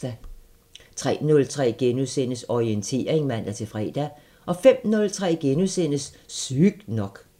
03:03: Orientering *(man-fre) 05:03: Sygt nok *